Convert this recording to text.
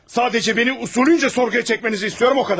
Sadəcə bəni usulunca sorğuya çəkmənizi istəyirəm, o qədər!